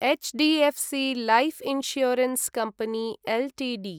HDFC life insurance company Ltd